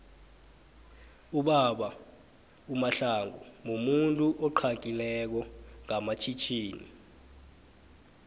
ubaba umahlangu mumuntu uxagileko nqamatjhitjhini